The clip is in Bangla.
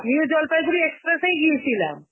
new জলপাইগুড়ি express এই গিয়েছিলাম.